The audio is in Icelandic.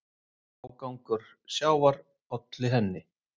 Ágangur sjávar olli henni.